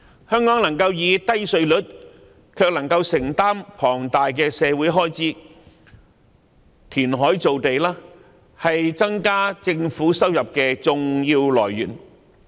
香港能夠保持低稅率，同時能夠承擔龐大的社會開支，填海造地是增加政府收入的重要來源。